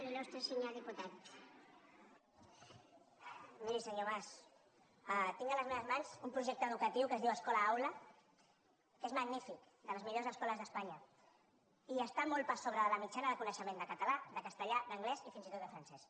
miri senyor mas tinc a les meves mans un projecte educatiu que es diu escola aula és magnífic de les millors escoles d’espanya i està molt per sobre de la mitjana de coneixement de català de castellà d’anglès i fins i tot de francès